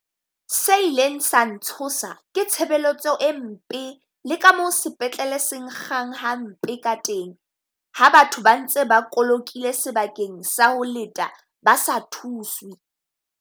Se ileng sa ntshosa ke tshebeletso e mpe le ka mo sepetlele se nkgang hampe ka teng. Ha batho ba ntse ba kolokile sebakeng sa ho leta ba sa thuswe.